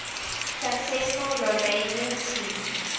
successful romanian team